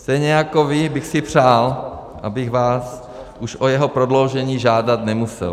Stejně jako vy bych si přál, abych vás už o jeho prodloužení žádat nemusel.